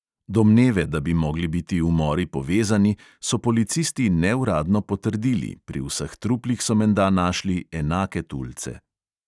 Domneve, da bi mogli biti umori povezani, so policisti neuradno potrdili, pri vseh truplih so menda našli enake tulce.